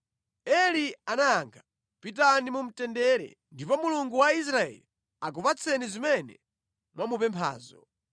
Eli anayankha, “Pitani mu mtendere, ndipo Mulungu wa Israeli akupatseni zimene mwamupemphazo.”